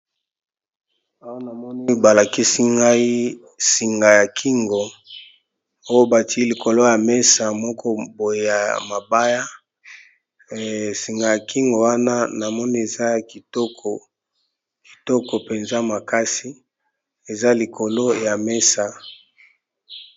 Awa namono balakisi ngai singa ya kingo oyo bati likolo ya mesa moko boye ya mabaya singa ya kingo wana na moni eza ya kitoko, kitoko mpenza makasi eza likolo ya mesa.